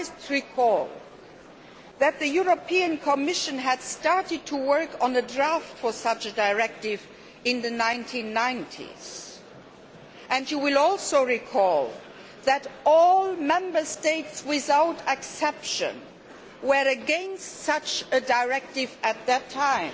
You might recall that the European Commission started to work on the draft for such a directive in the 1990s and you will also recall that all Member States, without exception, were against such a directive at that time